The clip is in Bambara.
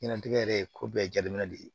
Ɲɛnajɛ yɛrɛ ye ko bɛɛ jateminɛ de ye